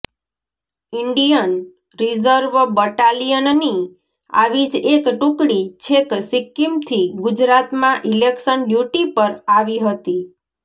Indian reserve બટાલિયનની આવી જ એક ટુકડી છેક સિક્કિમથી ગુજરાતમાં ઇલેક્શન ડ્યૂટી પર આવી હતી